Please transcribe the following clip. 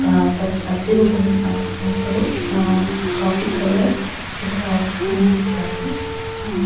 ಆ ಪ ಹಸಿರು ಆ ಪ ಒಬ್ಬರು ಆ ಕಾಫಿ ಕಲರ್ ಸ್ವೇಟರ್ ಹಾಕಿ ನಿಂತಿದ್ದಾರೆ. ಆ--